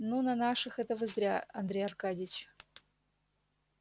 ну на наших это вы зря андрей аркадьич